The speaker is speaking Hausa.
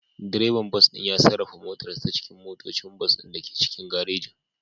Direban bas ɗin ya sarrafa motarsa ​​ta cikin motocin bas ɗin da ke cikin garejin.